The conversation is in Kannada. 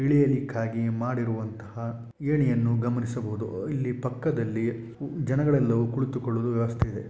ಇಳಿಯಲಿಕ್ಕಾಗಿ ಮಾಡಿರುವಂತಹ ಏಣಿಯನ್ನು ಗಮನಿಸಬಹುದು ಇಲ್ಲಿ ಪಕ್ಕದಲ್ಲಿ ಜನಗಳೆಲ್ಲರೂ ಕುಳಿತುಕೊಳ್ಳಲು ವ್ಯವಸ್ಥೆ ಇದೆ .